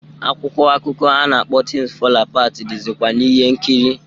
Akwụkwọ akụkọ a na-akpọ "Things Fall Apart" dịzịkwa n'ihe nkiri.